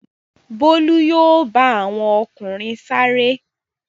Bólú yóò bá àwọn ọkùnrin sáré.